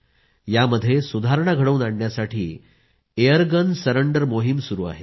यामध्ये सुधारणा घडवून आणण्यासाठी एयरगन सरेंडर मोहीम सुरू आहे